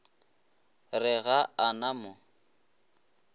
re ga a na mo